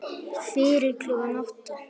Fyrir klukkan átta?